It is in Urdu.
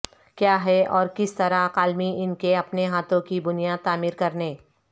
کیا ہے اور کس طرح کالمی ان کے اپنے ہاتھوں کی بنیاد تعمیر کرنے